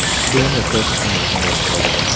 Keyin esa tushishni boshladi.